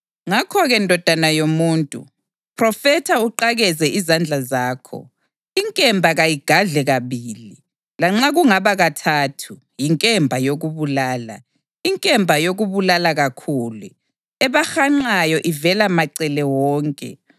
Ngakho-ke, ndodana yomuntu, phrofetha uqakeze izandla zakho. Inkemba kayigadle kabili, lanxa kungaba kathathu. Yinkemba yokubulala, inkemba yokubulala kakhulu, ebahanqayo ivela macele wonke.